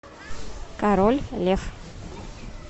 король лев